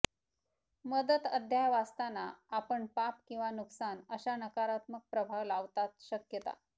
मदत अध्याय वाचताना आपण पाप किंवा नुकसान अशा नकारात्मक प्रभाव लावतात शकता